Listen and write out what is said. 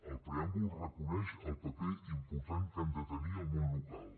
el preàmbul reconeix el paper important que ha de tenir el món local